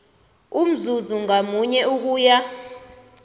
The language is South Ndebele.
umzuzi ngamunye ukuya